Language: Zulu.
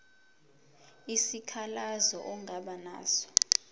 isikhalazo ongaba naso